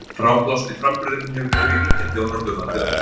Fráblásni framburðurinn hefur verið ríkjandi á Norðurlandi öllu.